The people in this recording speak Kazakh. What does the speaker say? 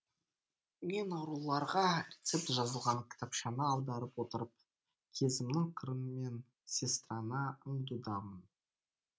мен ауруларға рецепт жазылған кітапшаны аударып отырып көзімнің қырымен сестраны аңдудамын